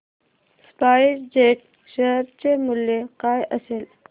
spice jet share चे मूल्य काय असेल